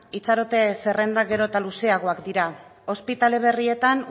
itxarote zerrendak gero eta luzeagoak dira ospitale berrietan